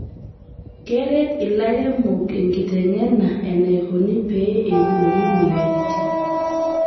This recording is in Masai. Ekeret lairemok enkitengena enaikoni pee eiboori moyiaritin